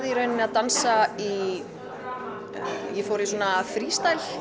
í rauninni að dansa ég fór í svona